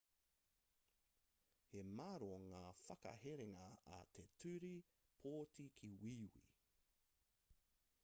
he māro ngā whakaherenga a te ture pōti ki wīwī